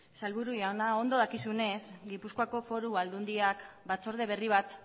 sailburu jauna ondo dakizunez gipuzkoako foru aldundiak batzorde berri bat